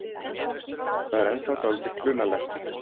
Það er ennþá dálítið klunnalegt.